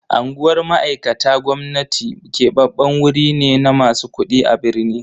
Anguwar mai'aikata gwamnati keɓaɓɓen wurai ne na masu kuɗi a birni.